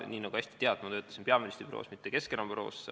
Nii nagu ise hästi tead, töötasin ma peaministri büroos, mitte Keskerakonna büroos.